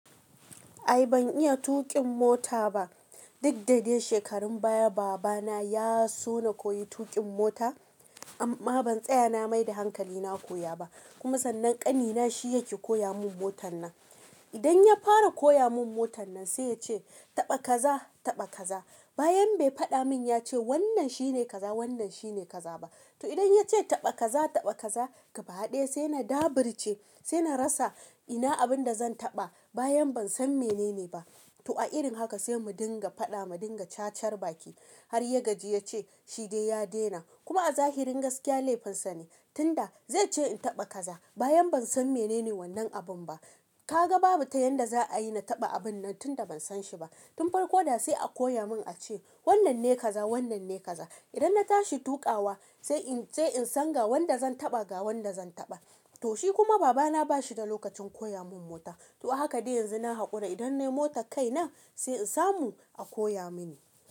Ai ban iya tuƙin mota ba. Dukdadai shekarun baya baba na ya so na koyi tuƙin mota amma ban tsaya na mai da hankali na koya ba. Kuma sannan ƙani na shi yake koya mun motan nan. Idan ya fara koya mun motan nan sai ya ce taɓa kaza, taɓa kaza. Bayan bai faɗa mun ya ce wannan shine kaza, wannan shine kaza ba. To idan ya ce taɓa kaza, taɓa kaza gaba ɗaya sai na daburce, sai na rasa ina abinda zan taɓa. Bayan ban san menene ba. To a irin haka sai mu dinga faɗa, mu dinga cacarbaki. Har ya gaji ya ce shi dai ya daina. Kuma a zahirin gaskiya laifinsa ne. Tunda zai ce in taɓa kaza bayan ban san menene wannan abun ba. Kaga babu ta yanda za a yi na taɓa abun nan tunda ban san shi ba. Tun farko da sai a koya mun a ce wannan ne kaza, wannan ne kaza. Idan na tashi tuƙawa sai in, sai in san ga wanda zan taɓa, ga wanda zan taɓa. To shi kuma baba na ba shi da lokacin koya mun mota. To haka dai yanzu na haƙura idan nayi mota kai nan sai in samu a koya mini.